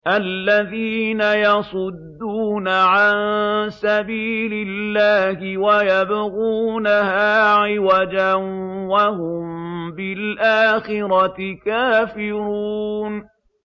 الَّذِينَ يَصُدُّونَ عَن سَبِيلِ اللَّهِ وَيَبْغُونَهَا عِوَجًا وَهُم بِالْآخِرَةِ كَافِرُونَ